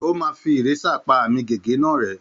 Ó má fí ìrésà pá àmì gègé náà rẹ